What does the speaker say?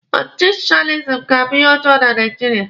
Ọchịchị soshializim ga-abụ ihe ọjọọ na Naijiria.